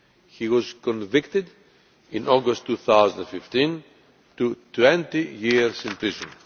He was sentenced in August 2015 to 20 years in prison.